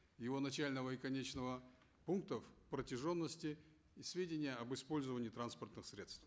его начального и конечного пунктов протяженности и сведения об использовании транспортных средств